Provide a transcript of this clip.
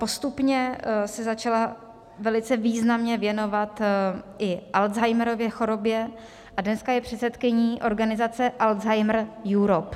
Postupně se začala velice významně věnovat i Alzheimerově chorobě a dnes je předsedkyní organizace Alzheimer Europe.